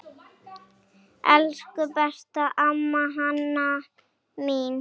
Elsku besta amma Hanna mín.